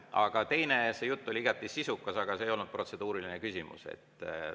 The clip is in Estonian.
Aga teiseks, see jutt oli igati sisukas, aga see ei olnud protseduuriline küsimus.